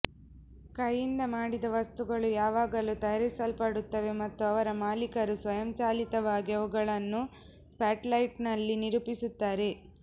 ಕೈಯಿಂದ ಮಾಡಿದ ವಸ್ತುಗಳು ಯಾವಾಗಲೂ ತಯಾರಿಸಲ್ಪಡುತ್ತವೆ ಮತ್ತು ಅವರ ಮಾಲೀಕರು ಸ್ವಯಂಚಾಲಿತವಾಗಿ ಅವುಗಳನ್ನು ಸ್ಪಾಟ್ಲೈಟ್ನಲ್ಲಿ ನಿರೂಪಿಸುತ್ತಾರೆ